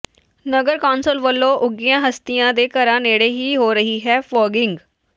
ਨਗਰ council ਵਲੋਂ ਉੱਘੀਆਂ ਹਸਤੀਆਂ ਦੇ ਘਰਾਂ ਨੇੜੇ ਹੀ ਹੋ ਰਹੀ ਹੈ ਫੌਗਿੰਗ